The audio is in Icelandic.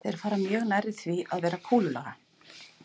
Þeir fara því mjög nærri því að vera kúlulaga.